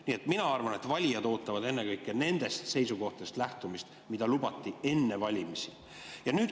Nii et ma arvan, et valijad ootavad ennekõike lähtumist sellest, mida lubati enne valimisi.